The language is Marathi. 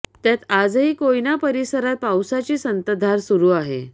त्यात आजही कोयना परिसरात पाऊसाची संतधार सुरु आहे